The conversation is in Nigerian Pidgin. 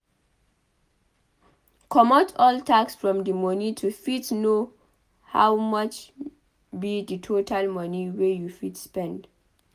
Comot all tax from di moni to fit know how much be di total money wey you fit spend